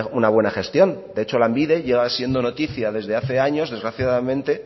una buena gestión de hecho lanbide lleva siendo noticia desde hace años desgraciadamente